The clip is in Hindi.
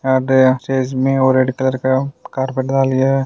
यहा पे और रेड कलर का कार्पेट डाली है।